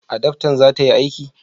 adaftan za ta yi aiki?